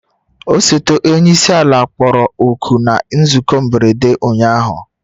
Osote onye isi ala kpọrọ oku na nzukọ mberede ụnyahụ